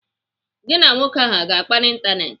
Gị na nwoke ahụ aga akpa n'Ịntanetị?